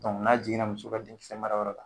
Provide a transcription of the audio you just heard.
n'a jiginna muso ka denkisɛmarayɔrɔ la